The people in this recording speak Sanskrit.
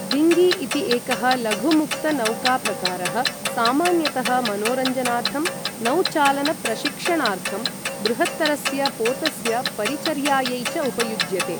डीङ्गी इति एकः लघुमुक्तनौकाप्रकारः सामान्यतः मनोरञ्जनार्थं, नौचालनप्रशिक्षणार्थं, बृहत्तरस्य पोतस्य परिचर्यायै च उपयुज्यते।